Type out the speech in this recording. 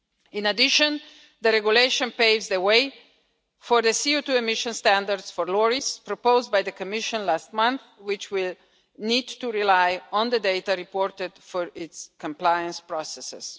In addition, the regulation paves the way for the CO2 emissions standards for lorries proposed by the Commission last month, which will need to rely on the data reported for its compliance processes.